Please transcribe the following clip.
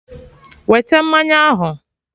Wete mmanya ahụ!